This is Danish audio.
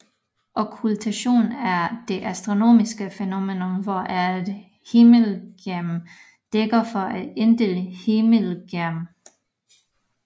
Okkultation er det astronomiske fænomen hvor et himmellegeme dækker for et andet himmellegeme